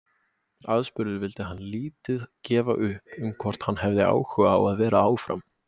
Aðspurður vildi hann lítið gefa upp um hvort hann hefði áhuga á að vera áfram.